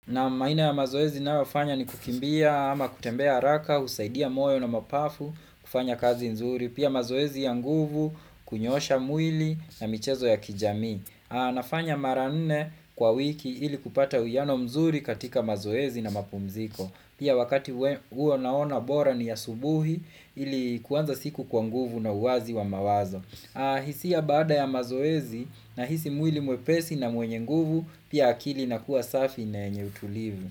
Naam aina ya mazoezi nayofanya ni kukimbia ama kutembea haraka, husaidia moyo na mapafu, kufanya kazi nzuri, pia mazoezi ya nguvu, kunyoosha mwili na michezo ya kijamii. Nafanya mara nne kwa wiki ili kupata uiano mzuri katika mazoezi na mapumziko. Pia wakati huo naona bora ni asubuhi ili kuanza siku kwa nguvu na uwazi wa mawazo. Hisia baada ya mazoezi nahisi mwili mwepesi na mwenye nguvu, pia akili na kuwa safi na yenye utulivu.